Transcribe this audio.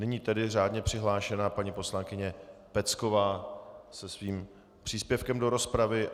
Nyní tedy řádně přihlášená paní poslankyně Pecková se svým příspěvkem do rozpravy.